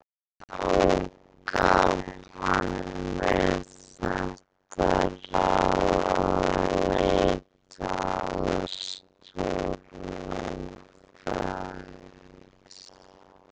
Og þá gaf hann mér þetta ráð að leita aðstoðar lögfræðings.